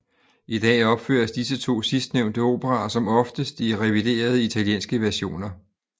I dag opføres disse to sidstnævnte operaer som oftest i reviderede italienske versioner